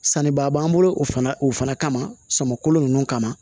Sannibaa b'an bolo o fana o fana kama samako ninnu kama